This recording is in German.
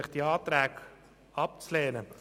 Ich bitte Sie, diese Anträge abzulehnen.